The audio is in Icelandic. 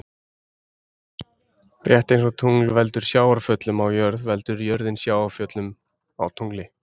Rétt eins og tungl veldur sjávarföllum á jörð veldur jörðin sjávarföllum á tungli.